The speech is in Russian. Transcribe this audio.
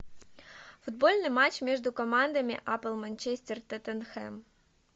футбольный матч между командами апл манчестер тоттенхэм